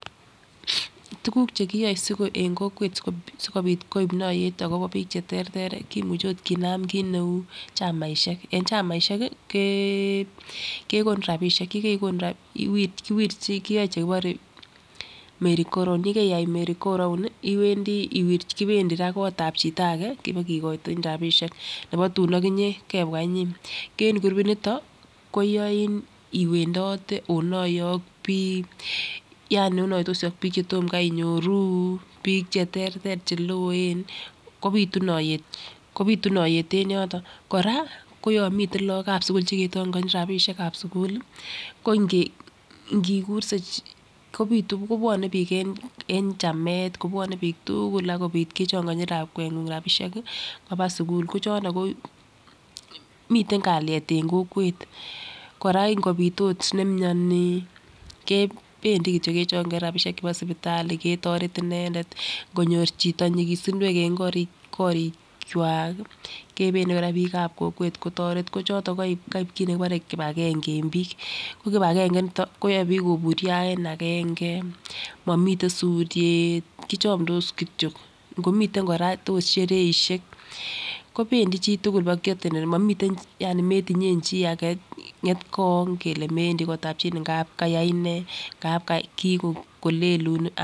Tukuk chekiyoe en kokwet sikopit koib toyet akobo bik cheterter kimuche ot kinam kit neu chamaishek en chamaishek kii kekonu rabishek yekekonu rabishek kowirchin kiyoe chekibore Mary go round yekeyai Mary go round iwendii iwirchi kopendii raa kotabi chito age kibokikochi rabishek nebo tun okinyee kebwa okinyee ko en kurupit niton koyoein iwendote onoye ak bik, yaani onoitosi ak bik chetom Kai inyoruu bik cheterter cheloen kopitu notet kopitu notet en yoton. Koraa ko yon miten lokab sukul chekechongochin rabishek ab sukul lii ko nge nkikurse kopitu kobwone bik en chamet kobwone bik tuukul akopit kechongochi lakwengung rabishek sikopit kwo sukul. Miten kaliet en kokwet Koraa inkopit ot nemioni kependii kityok kechongochi rabishek chebo sipitalibketoret inendet. Nkonyor chito nyikisinywek en korik korikwak kii kependii Koraa bikab kokwet kotoret ko choton ko koib kit nekibore kipagenge en bik ko kipagenge initon koyoe bik koburyo en agenge, momiten suryet kichomdos kityok komiten Koraa ot shereishek kopendii chitukul bo ki attendeni momii yaani metinyen chii age ngetgony kele mewendii kotabi chii ngap kayai nee ngap kikolelun ana.